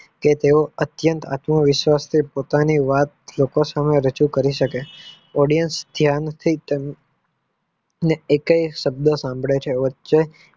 કે તેઓ અત્યંત આતુર વિશ્વાસ થી પોતાની વાત લોકો સામે રજુ કરી શકે Audience ને એકેય શબ્દ સાંભરે છે.